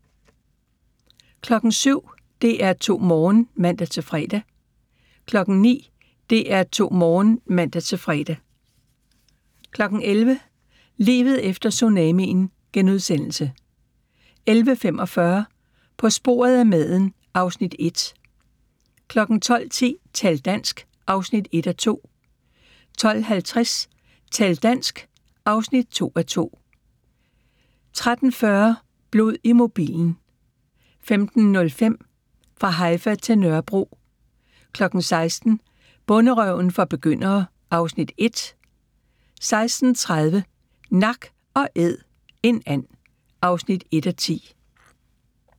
07:00: DR2 Morgen (man-fre) 09:00: DR2 Morgen (man-fre) 11:00: Livet efter tsunamien * 11:45: På sporet af maden (Afs. 1) 12:10: Tal dansk! (1:2) 12:50: Tal dansk! (2:2) 13:40: Blod i mobilen 15:05: Fra Haifa til Nørrebro 16:00: Bonderøven for begyndere (Afs. 1) 16:30: Nak & æd - en and (1:10)